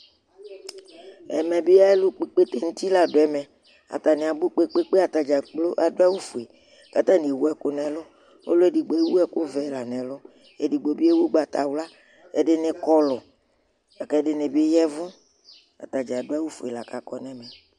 ɛmɛ bi alò kpɔ ikpete n'uti la do ɛmɛ atani abò kpe kpe kpe atadza kplo adu awu fue k'atani ewu ɛkò n'ɛlu ɔlò edigbo ewu ɛkò vɛ la n'ɛlu edigbo bi ewu ugbata wla ɛdini kɔlu la kò ɛdini bi ya vu atadza adu awu fue la k'akɔ n'ɛmɛ